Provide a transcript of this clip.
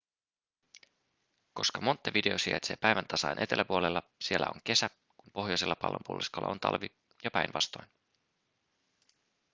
koska montevideo sijaitsee päiväntasaajan eteläpuolella siellä on kesä kun pohjoisella pallonpuoliskolla on talvi ja päinvastoin